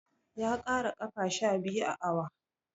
Ya ƙara ƙafa sha biyu a awon.